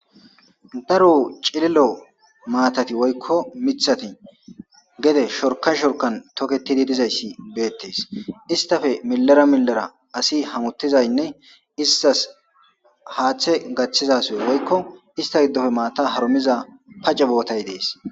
Dro cililo matat woykko gede shorksn shorkan toketid dizays betes, istappe milera milera hamutizaynne istas hathe gathiza asiy woy mata harumiza pace bitay Des.